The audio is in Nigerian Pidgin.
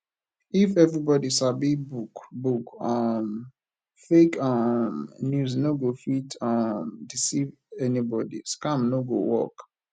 if everybody sabi book book um fake um news no go fit um deceive anybody scam no go work